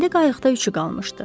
İndi qayıqda üçü qalmışdı.